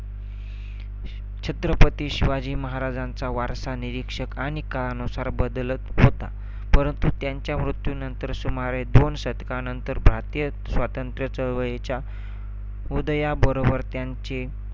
छत्रपती शिवाजी महाराजांचा वारसा निरीक्षक आणि काळानुसार बदलत होता. परंतु त्यांच्या मृत्यूनंतर सुमारे दोन शतकांनंतर, भारतीय स्वातंत्र्य चळवळीच्या उदयाबरोबर त्यांचे